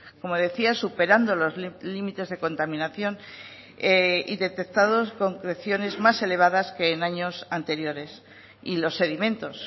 como decía superando los límites de contaminación y detectados concreciones más elevadas que en años anteriores y los sedimentos